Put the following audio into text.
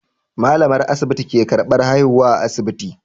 Malamar asibiti ke karban haihuwa a asibiti.